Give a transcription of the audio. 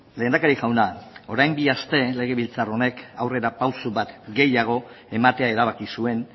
lehendakari jauna orain bi aste legebiltzar honek aurrera pausu bat gehiago ematea erabaki zuen